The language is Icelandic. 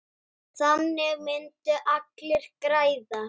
Þannig myndu allir græða.